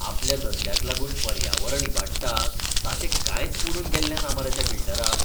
आपल्या धंद्याक लागून पर्यावरण इबाडटा ताचें कांयच पडून गेल्लें ना मरे त्या बिल्डराक.